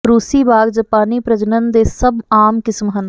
ਰੂਸੀ ਬਾਗ ਜਪਾਨੀ ਪ੍ਰਜਨਨ ਦੇ ਸਭ ਆਮ ਕਿਸਮ ਹਨ